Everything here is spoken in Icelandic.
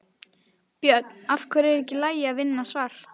Björn: Af hverju er ekki í lagi að vinna svart?